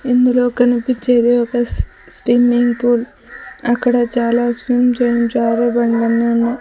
ఇందులో కన్పిచ్చేది ఒక స్టిమ్మింగ్ పూల్ అక్కడ చాలా స్విమ్స్ అండ్ జారేబండలన్నీ ఉన్నాయ్.